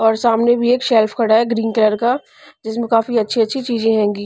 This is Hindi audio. और सामने भी एक शेल्फ खड़ा है ग्रीन कलर का जिसमें काफी अच्छी-अच्छी चीजें होंगी--